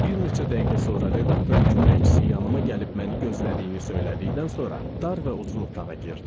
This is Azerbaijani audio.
Bir neçə dəqiqə sonra redaktorun köməkçisi yanıme gəlib məni gözlədiyini söylədikdən sonra dar və uzun otağa girdim.